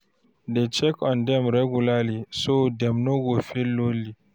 Dey check on dem regularly so dem no go feel lonely.